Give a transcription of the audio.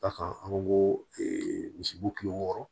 D'a kan an ko ko misibo kile wɔɔrɔ